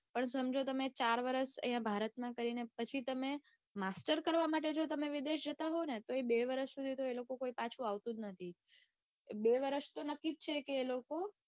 પણ સમજો તમે ચાર વરસ અઇયા ભારતમાં કરીને પછી તમે master કરવા માટે જો તમે વિદેશ જતા હોવ ને તો એ બે વરસ સુધી તો કોઈ પાછું આવતું જ નથી એ બે વરસ તો નક્કી જ છે કે એ લોકો